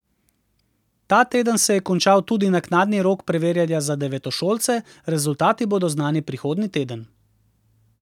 Ta teden se je končal tudi naknadni rok preverjanja za devetošolce, rezultati bodo znani prihodnji teden.